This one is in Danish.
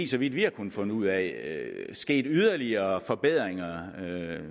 så vidt vi har kunnet finde ud af sket yderligere tekniske forbedringer af